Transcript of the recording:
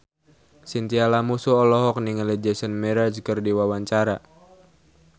Chintya Lamusu olohok ningali Jason Mraz keur diwawancara